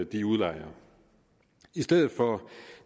de udlejere i stedet for